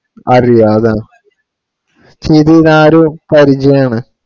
അറിയാം അതാ ചെയ്തു ആ ഒരു പരിചയം ആണ്